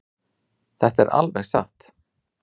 Þetta er alveg satt.